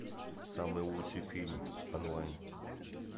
самый лучший фильм онлайн